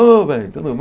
Ô, velho, tudo bom?